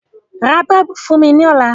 Ra bọ́ọ̀bù fún mi lọ́la.